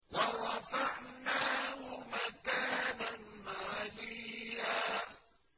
وَرَفَعْنَاهُ مَكَانًا عَلِيًّا